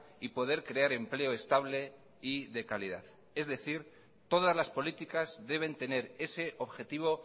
y poder crear empleo estable y de calidad es decir todas las políticas deben tener ese objetivo